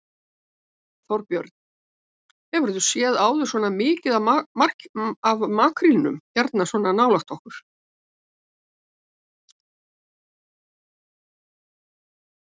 Þorbjörn: Hefur þú séð áður svona mikið af makrílnum hérna svona nálægt okkur?